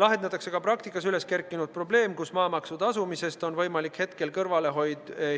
Lahendatakse ka praktikas üles kerkinud probleem, et maamaksu tasumisest on võimalik kõrvale